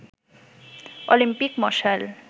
Olympic মশাল